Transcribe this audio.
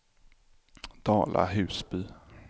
Dala-Husby